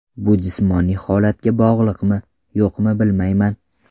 Bu jismoniy holatga bog‘liqmi, yo‘qmi bilmayman.